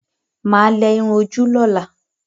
Mà á lẹ irun ojú lọ́la.